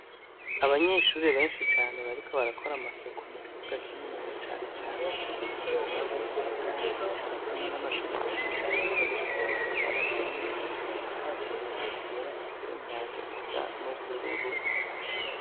Abanyeshuri benshi cane bariko barakora amasuku mu kibuga kininiya cane cagutse gifise utwatsi dutotahaye, cubatsemwo amashuri menshi cane yubakishije amatafari aturiye, asakaje amabati yera afise imyango isa n'ubururu.